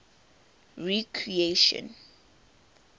recreation